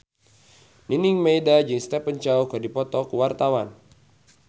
Nining Meida jeung Stephen Chow keur dipoto ku wartawan